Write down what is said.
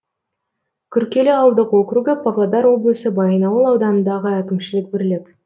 күркелі ауылдық округі павлодар облысы баянауыл ауданындағы әкімшілік бірлік